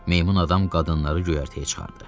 Meymun adam qadınları göyərtəyə çıxardı.